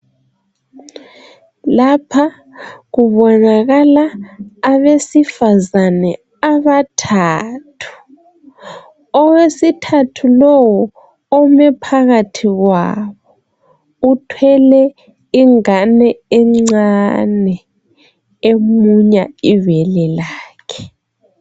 Lapha kubonakala abesifazane abathathu. Owesithathu lowu ome phakathi kwabo uthwele ingane encane emunya ibele lakhe.